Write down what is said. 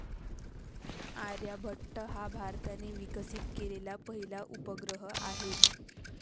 आर्यभट्ट हा भारताने विकसित केलेला पहिला उपग्रह आहे.